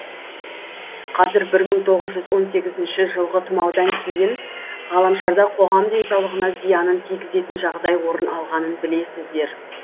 қазір бір мың тоғыз жүз он сегізінші жылғы тұмаудан кейін ғаламшарда қоғам денсаулығына зиянын тигізетін жағдай орын алғанын білесіздер